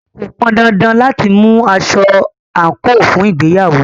Kò pọn dandan láti mú aṣọ àńkò fún ìgbéyàwó